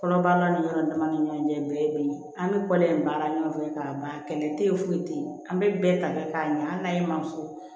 Kɔnɔbara ni yɔrɔ dama ni ɲɔgɔn cɛ bɛɛ ye be ye an be kɔlɔn in baara ɲɔgɔn fɛ k'a mɛn kɛlɛ te yen foyi te ye an be bɛɛ ta kɛ k'a ɲa an naye ma fɔ